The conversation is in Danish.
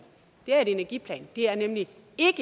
er en energiplan er nemlig ikke